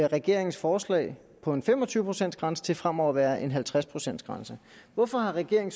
regeringens forslag på en fem og tyve procents grænse til fremover at være en halvtreds procents grænse hvorfor har regeringen